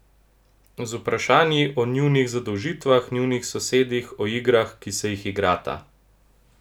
Z vprašanji o njunih zadolžitvah, njunih sosedih, o igrah, ki se jih igrata.